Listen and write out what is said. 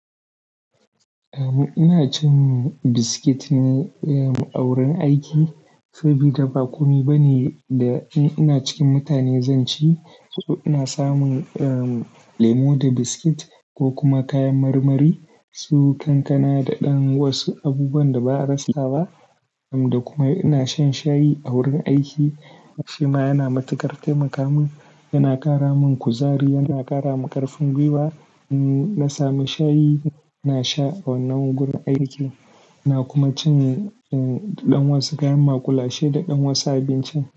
Eh, ina cin biskit ne a wurin aiki. Saboda ba komai ba ne da in ina cikin mutane zan ci, so ina samun lemo da biskit ko kuma kayan marmari, su kankana da ɗan wasu abubuwan da ba a rasa ba. Da kuma ina shan shayi a wurin aiki. Shi ma yana matukar taimaka min, yana ƙara min kuzari, yana ƙara min ƙarfin gwiwa. In na sami shayi, ina sha a wannan wurin aiki. Ina kuma cin ɗan wasu kayan makulashe da ɗan wasu abinci.